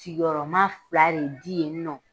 Sigiyɔrɔma fila de di u ma.